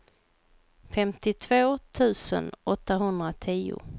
femtiotvå tusen åttahundratio